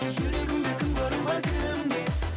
жүрегімде кімге орын бар кімге